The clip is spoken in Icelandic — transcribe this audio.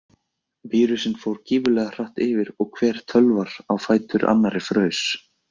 Vírusinn fór gífurlega hratt yfir og hver tölvar á fætur annari fraus.